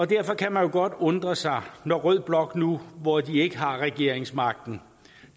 derfor kan man jo godt undre sig når rød blok nu hvor de ikke har regeringsmagten